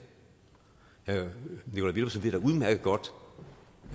herre nikolaj villumsen ved da udmærket godt